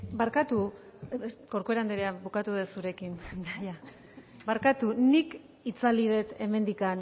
barkatu corcuera anderea bukatu dut zurekin barkatu nik itzali dut hemendik